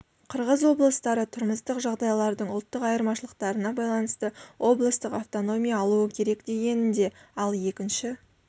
қырғыз облыстары тұрмыстық жағдайлардың ұлттық айырмашылықтарына байланысты облыстық автономия алуы керек дегенінде ал екінші